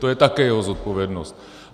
To je také jeho zodpovědnost.